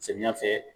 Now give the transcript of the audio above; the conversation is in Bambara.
Samiya fɛ